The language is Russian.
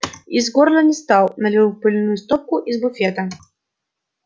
из горла не стал налил пыльную стопку из буфета